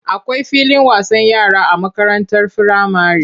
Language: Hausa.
Akwai filin wasan yara a makarantar firamare.